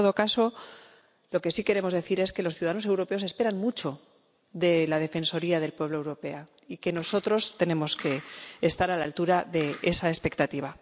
en todo caso, lo que sí queremos decir es que los ciudadanos europeos esperan mucho de la Defensoría del Pueblo Europea y que nosotros tenemos que estar a la altura de esa expectativa.